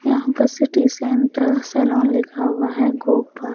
यहाँ पर city centre salon लिखा हुआ है गोपाल--